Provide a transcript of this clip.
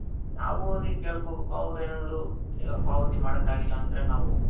ನಾವ್ ಹೋಗಿ ಕೇಳ್ಕೊಬೇಕು ಅವರೇನಾದ್ರು ಈಗ ಪಾವತಿ ಮಾಡಕಾಗಿಲ್ಲ ಅಂದ್ರೆ ನಾವು